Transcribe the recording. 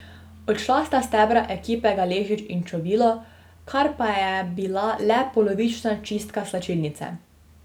Odšla sta stebra ekipe Galešić in Čovilo, kar pa je bila le polovična čistka slačilnice.